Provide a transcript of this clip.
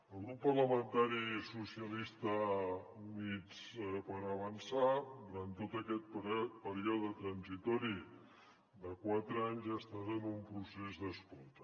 el grup parlamentari socialistes i units per avançar durant tot aquest període transitori de quatre anys ha estat en un procés d’escolta